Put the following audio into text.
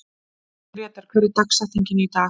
Grétar, hver er dagsetningin í dag?